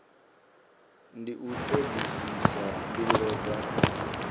ndi u todisisa mbilo dza